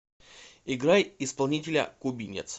играй исполнителя кубинец